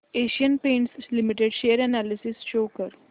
Asian Paints limited share analysis show कर